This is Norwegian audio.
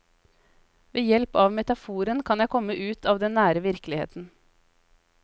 Ved hjelp av metaforen kan jeg komme ut av den nære virkeligheten.